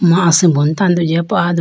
ama asimbo mai tando jiya po ayido.